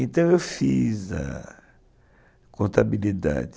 Então eu fiz a contabilidade.